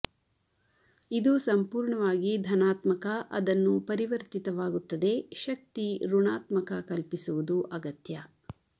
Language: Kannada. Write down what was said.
ಇದು ಸಂಪೂರ್ಣವಾಗಿ ಧನಾತ್ಮಕ ಅದನ್ನು ಪರಿವರ್ತಿತವಾಗುತ್ತದೆ ಶಕ್ತಿ ಋಣಾತ್ಮಕ ಕಲ್ಪಿಸುವುದು ಅಗತ್ಯ